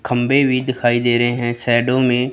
खंबे भी दिखाई दे रहे हैं शैडो में --